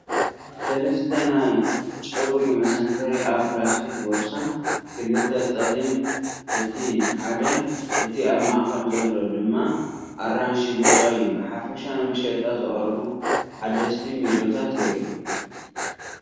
ሰለስተ ናይ ጨጉሪ መሰንተሪ ኣብ ፕላስቲክ ቦርሳ፡ ክልተ ጸሊም፡ እቲ ሓደ (እቲ ኣብ ማእከል ዘሎ) ድማ ኣራንሺ-ብጫ እዩ። ብሓፈሻ ንመሸጣ ዝቐረቡ ሓደስቲ ሚዶታት የርኢ።